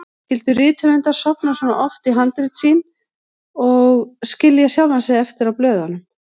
Skyldu rithöfundar sofna svona ofan í handrit sín og skilja sjálfa sig eftir á blöðunum?